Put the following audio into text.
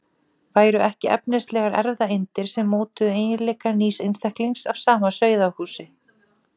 Væru ekki efnislegar erfðaeindir sem mótuðu eiginleika nýs einstaklings af sama sauðahúsi?